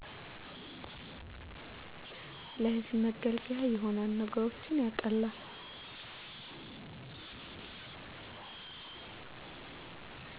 ለህዝብ መገልገያ ይሆናል ነገሮችን ያቀላል